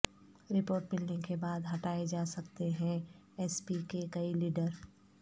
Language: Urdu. رپورٹ ملنے کے بعد ہٹائے جا سکتے ایس پی کے کئی لیڈ ر